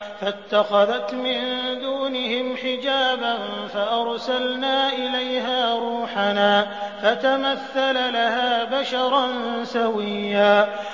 فَاتَّخَذَتْ مِن دُونِهِمْ حِجَابًا فَأَرْسَلْنَا إِلَيْهَا رُوحَنَا فَتَمَثَّلَ لَهَا بَشَرًا سَوِيًّا